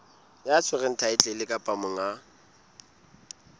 ya tshwereng thaetlele kapa monga